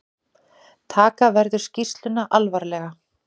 Taka verður skýrsluna alvarlega